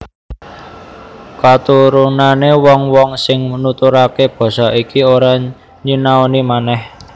Katurunané wong wong sing nuturaké basa iki ora nyinaoni manèh